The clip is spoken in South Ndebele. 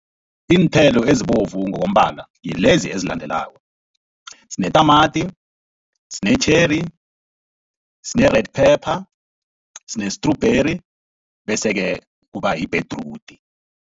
Iinthelo ezibovu ngokombala ngilezi ezilandelako, sinetamati, sine-cherry, sine-red pepper, sine-strawberry bese-ke kuba yibhedrudi.